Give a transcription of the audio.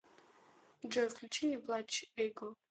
джой включи не плачь эго